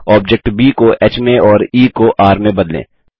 object ब को ह में और ई को र में बदलें